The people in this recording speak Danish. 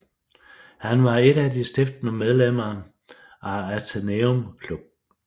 Han var et af de stiftende medlemmer af Athenaeum Club